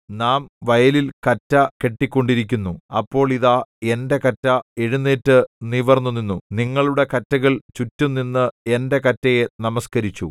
നാം വയലിൽ കറ്റ കെട്ടിക്കൊണ്ടിരുന്നു അപ്പോൾ ഇതാ എന്റെ കറ്റ എഴുന്നേറ്റു നിവിർന്നുനിന്നു നിങ്ങളുടെ കറ്റകൾ ചുറ്റും നിന്ന് എന്റെ കറ്റയെ നമസ്കരിച്ചു